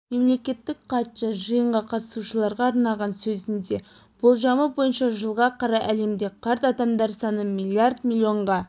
мемлекеттік хатшы жиынға қатысушыларға арнаған сөзінде болжамы бойынша жылға қарай әлемде қарт адамдар саны миллиард миллионға